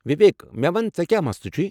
وِویک، مےٚ ون، ژے٘ کیٚا مسلہٕ چھُے؟